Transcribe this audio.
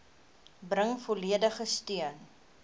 bring volledige steun